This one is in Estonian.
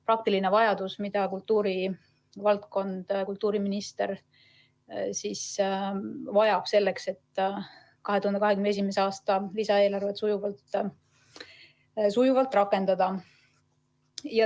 Praktiline vajadus, mida kultuuriminister vajab, selleks et 2021. aasta lisaeelarvet sujuvalt rakendada.